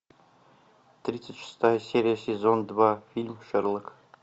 тридцать шестая серия сезон два фильм шерлок